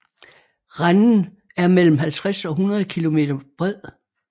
Renden er mellem 50 og 100 kilometer bred